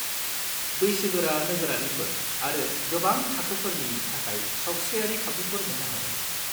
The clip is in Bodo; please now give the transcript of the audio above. बैसोगोरा नोगोरारिफोर आरो गोबां थाखोफोरनि थाखाय सावस्रियारि खाबुफोर मोन्नो हागोन।